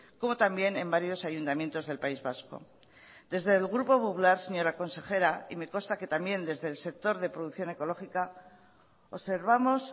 como también en varios ayuntamientos del país vasco desde el grupo popular señora consejera y me consta que también desde el sector de producción ecológica observamos